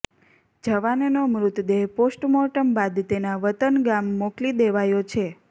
જવાનનો મૃતદેહ પોસ્ટમોર્ટમ બાદ તેના વતન ગામ મોકલી દેવાયો છે